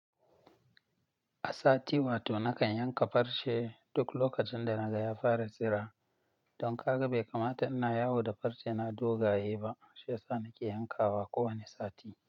A sati wato nakan yanka farce duk lokacin da naga ya fara tsira. Don kaga bai kamata in na yawo da farce na dogaye ba shiyasa nake yankawa kowane sati.